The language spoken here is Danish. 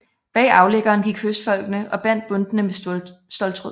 Bag aflæggeren gik høstfolkene og bandt bundtene med ståltråd